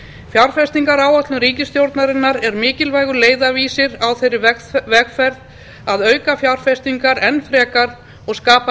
fjárfestingaráætlun ríkisstjórnarinnar er mikilvægur leiðarvísir á þeirri vegferð að auka fjárfestingar enn frekar og skapa